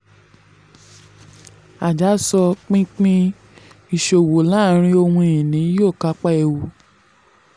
aja sọ: pínpín ìṣòwò láàárín ohun-ìní um yóò kápá ewu.